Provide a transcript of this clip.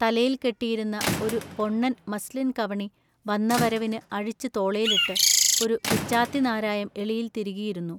തലയിൽ കെട്ടിയിരുന്ന ഒരു പൊ ണ്ണൻ മസ്ലിൻകവണി വന്നവരവിനു അഴിച്ചു തോളേലിട്ടു ഒരു പിച്ചാത്തിനാരായം എളിയിൽ തിരുകിയിരുന്നു.